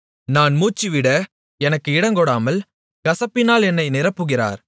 நான் மூச்சுவிட எனக்கு இடங்கொடாமல் கசப்பினால் என்னை நிரப்புகிறார்